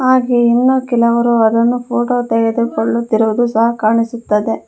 ಹಾಗೆಯೇ ಇನ್ನೂ ಕೆಲವರು ಅದನ್ನು ಫೋಟೋ ತೆಗೆದುಕೊಳ್ಳುತ್ತಿರುವುದು ಸಹ ಕಾಣಿಸುತ್ತದೆ.